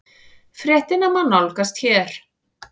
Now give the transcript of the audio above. Fréttina má nálgast hér